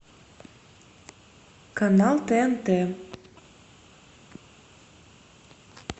канал тнт